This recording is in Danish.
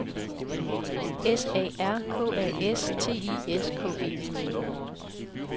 S A R K A S T I S K E